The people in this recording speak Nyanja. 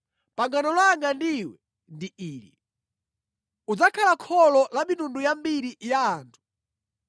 “Pangano langa ndi iwe ndi ili: Udzakhala kholo la mitundu yambiri ya anthu.